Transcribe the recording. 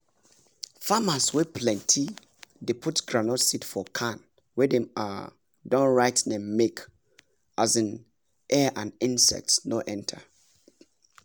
farmers wey plenty dey put groundnut seed for can wey dem um don write name make um air and insect no enter